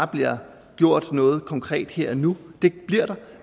bliver gjort noget konkret her og nu det bliver der